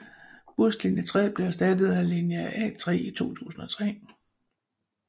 Buslinje 3 blev erstattet af linje 3A i 2003